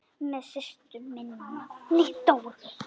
Með systur minni, Dóru.